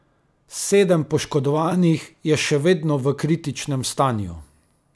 Sedem poškodovanih je še vedno v kritičnem stanju.